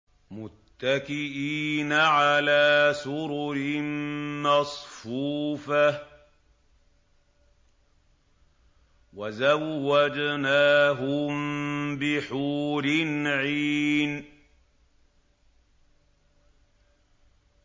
مُتَّكِئِينَ عَلَىٰ سُرُرٍ مَّصْفُوفَةٍ ۖ وَزَوَّجْنَاهُم بِحُورٍ عِينٍ